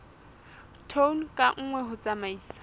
tone ka nngwe ho tsamaisa